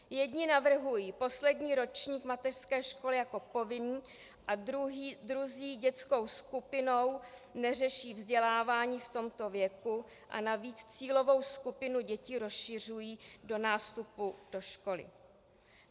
Jedni navrhují poslední ročník mateřské školy jako povinný a druzí dětskou skupinou neřeší vzdělávání v tomto věku a navíc cílovou skupinu dětí rozšiřují do nástupu do školy.